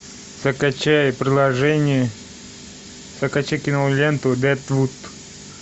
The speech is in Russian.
закачай приложение закачай киноленту дедвуд